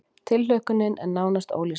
Tilhlökkunin er nánast ólýsanleg